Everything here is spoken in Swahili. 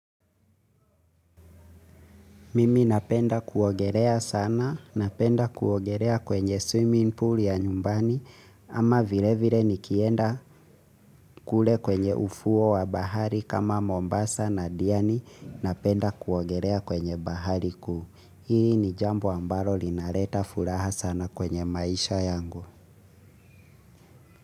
Mimi napenda kuogelea sana, napenda kuogerea kwenye swimming pool ya nyumbani, ama vile vire nikienda kule kwenye ufuo wa bahari kama Mombasa na Diani, napenda kuogerea kwenye bahari kuu. Hii ni jambo ambalo linaleta furaha sana kwenye maisha yangu.